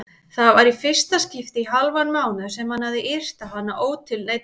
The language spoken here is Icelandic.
Það var í fyrsta skipti í hálfan mánuð sem hann hafði yrt á hana ótilneyddur.